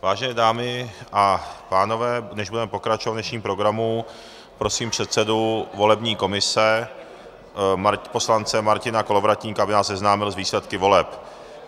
Vážené dámy a pánové, než budeme pokračovat v dnešním programu, prosím předsedu volební komise poslance Martina Kolovratníka, aby nás seznámil s výsledky voleb.